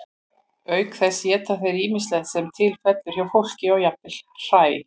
auk þess éta þeir ýmislegt sem til fellur hjá fólki og jafnvel hræ